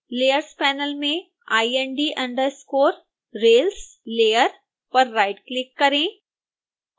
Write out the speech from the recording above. layers panel में ind_rails layer पर right click करें